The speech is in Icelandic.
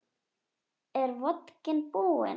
En nú er vodkinn búinn.